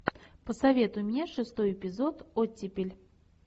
посоветуй мне шестой эпизод оттепель